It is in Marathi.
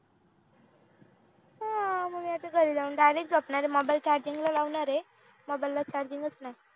हा मी आता घरी जाऊन direct झोपणार आहे mobile charging ला लावणार आहे mobile ला charging च नाही